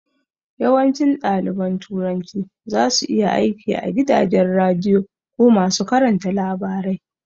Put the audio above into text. Yawancin ɗaliban turanci zasu iya aiki a gidajen radiyo ko masu karanta labarai